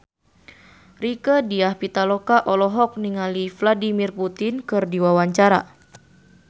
Rieke Diah Pitaloka olohok ningali Vladimir Putin keur diwawancara